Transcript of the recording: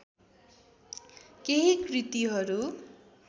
केही कृतिहरू